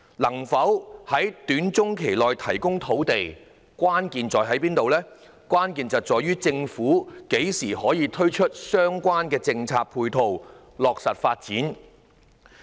能否在短中期提供土地，關鍵在於政府何時可以推出相關的政策配套，落實發展。